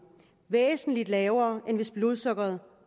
væsentlig lavere end hvis blodsukkeret